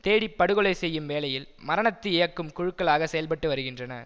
தேடி படுகொலை செய்யும் வேலையில் மரணத்தை இயக்கும் குழுக்களாக செயல்பட்டு வருகின்றன